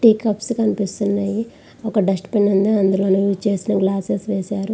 Three cups కనిపిస్తున్నాయి. ఒక dustbin ఉంది. అందులోని యూస్ చేసిన గ్లాసెస్ వేశారు.